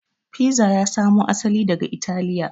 Fiza ya samo asali daga italiya